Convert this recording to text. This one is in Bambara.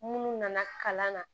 Munnu nana kalan na